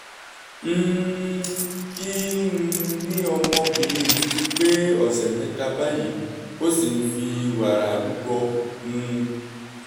um kí um ni ọmọbìnrin mi ti pé ọ̀sẹ̀ mẹ́ta báyìí ó sì ń fi wàrà rúbọ um